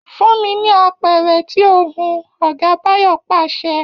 Fún mi ní apẹ̀rẹ̀ tí o hun!, Ọ̀gá Báyọ̀ pàṣẹ